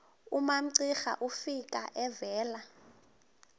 umamcira efika evela